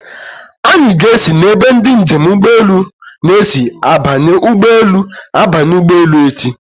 Anyị ga-esi n'ebe ndị njem ụgbọelu na-esi abanye ụgbọelu abanye ụgbọelu echi.